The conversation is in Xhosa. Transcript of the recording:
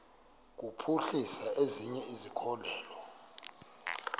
kuphuhlisa ezinye izikhokelo